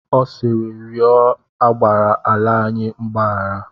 Ọ sịịrị, rịọ agbara ala anyị mgbahara!